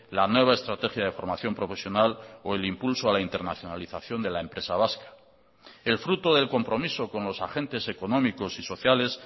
la nueva estrategia de formación profesional o el impulso a la internacionalización de la empresa vasca el fruto del compromiso con los agentes económicos y sociales